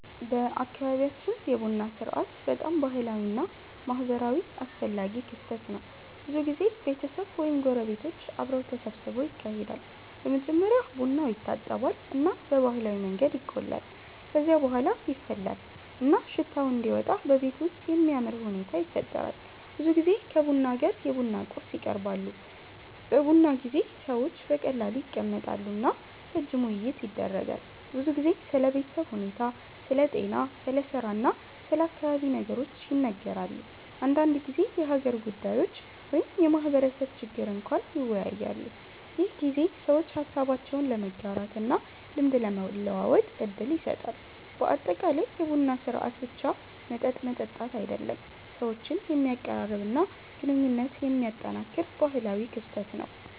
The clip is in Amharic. በአካባቢያችን የቡና ሥርዓት በጣም ባህላዊ እና ማህበራዊ አስፈላጊ ክስተት ነው። ብዙ ጊዜ ቤተሰብ ወይም ጎረቤቶች አብረው ተሰብስበው ይካሄዳል። በመጀመሪያ ቡናው ይታጠባል እና በባህላዊ መንገድ ይቆላል። ከዚያ በኋላ ይፈላል እና ሽታው እንዲወጣ በቤቱ ውስጥ የሚያምር ሁኔታ ይፈጠራል። ብዙ ጊዜ ከቡና ጋር የቡና ቁርስ ይቀርባሉ። በቡና ጊዜ ሰዎች በቀላሉ ይቀመጣሉ እና ረጅም ውይይት ይደረጋል። ብዙ ጊዜ ስለ ቤተሰብ ሁኔታ፣ ስለ ጤና፣ ስለ ስራ እና ስለ አካባቢ ነገሮች ይነጋገራሉ። አንዳንድ ጊዜ የሀገር ጉዳዮች ወይም የማህበረሰብ ችግር እንኳን ይወያያሉ። ይህ ጊዜ ሰዎች ሀሳባቸውን ለመጋራት እና ልምድ ለመለዋወጥ እድል ይሰጣል። በአጠቃላይ የቡና ሥርዓት ብቻ መጠጥ መጠጣት አይደለም፣ ሰዎችን የሚያቀራርብ እና ግንኙነት የሚያጠናክር ባህላዊ ክስተት ነው።